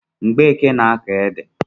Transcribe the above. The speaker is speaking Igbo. Mgbeke na-akọ ede